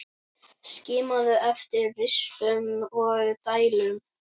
Skimaðu eftir rispum og dældum.